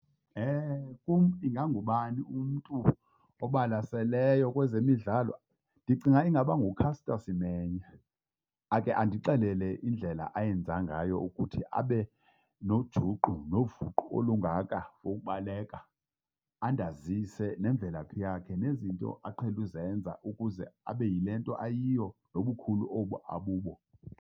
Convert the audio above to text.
Kum ingangubani umntu obalaseleyo kwezemidlalo? Ndicinga ingaba nguCaster Semenya, akhe andixelele indlela ayenza ngayo ukuthi abe nojuqu novuqu olungaka lokubaleka, andazise nemvelaphi yakhe nezinto aqhele uzenza ukuze abe yile nto ayiyo nobukhulu obu abubo.